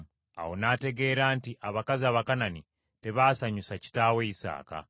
Awo n’ategeera nti abakazi Abakanani tebaasanyusa kitaawe Isaaka.